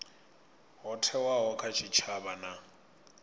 ho thewaho kha tshitshavha na